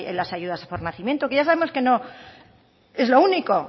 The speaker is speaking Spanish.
las ayudas por nacimiento que ya sabemos que no es lo único